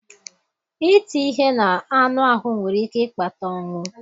iti ihe n'anụ ahụ́ nwere ike ịkpata ọnwụ.